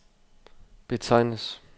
betegnes